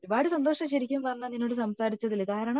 ഒരുപാട് സന്തോഷം ശെരിക്കും പറഞ്ഞ നിന്നോട് സംസാരിച്ചതിൽ കാരണം